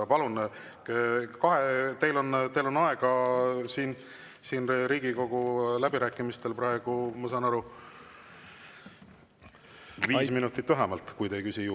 Palun, teil on aega läbirääkimistel, ma saan aru, viis minutit vähemalt, kui te juurde ei küsi.